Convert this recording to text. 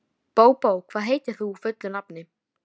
Svenni situr nokkra stund við símann, getur sig hvergi hrært.